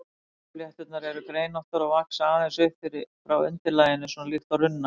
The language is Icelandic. Runnaflétturnar eru greinóttar og vaxa aðeins upp frá undirlaginu, svona líkt og runnar.